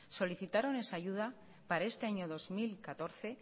solicitaron esa ayuda para este año dos mil catorce